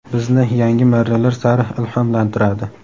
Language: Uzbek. bizni yangi marralar sari ilhomlantiradi.